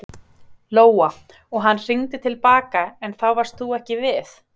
Lóa: Og hann hringdi til baka en þá varst þú ekki við?